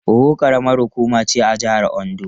Owo karamar hukuma ce a jihar Ondo.